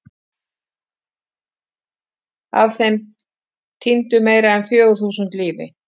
Af þeim týndu meira en fjögur þúsund lífi.